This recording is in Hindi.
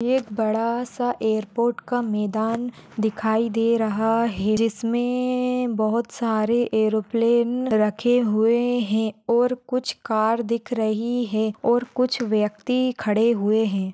एक बड़ा सा एयरपोर्ट का मैदान दिखाई दे रहा है जिसमे बहुत सारे एयरप्लेन रखे हुए है और कुछ कार दिख रही है और कुछ व्यक्ति खड़े हुए है।